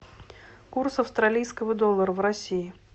курс австралийского доллара в россии